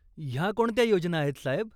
ह्या कोणत्या योजना आहेत, साहेब?